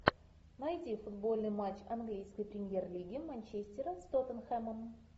найди футбольный матч английской премьер лиги манчестера с тоттенхэмом